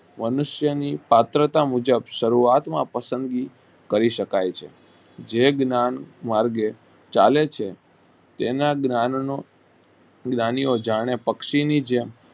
મનુષ્યો ની શાસ્ત્રા મુજબ શરૂઆતમાં પસંદગી કહી શકાય છે જે જ્ઞાન માર્ગે ચાલે છે તેના જ્ઞાંન નો જ્ઞાની ઓ પક્ષી ની જેમ